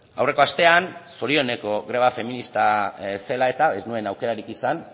aurreko astean zorioneko greba feminista zela eta ez nuen aukerarik esan